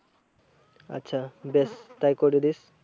আচ্ছা বেশ তাই করে দিস।